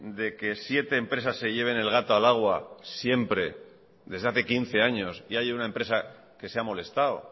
de que siete empresas se lleven el gato al agua siempre desde hace quince años y haya una empresa que se ha molestado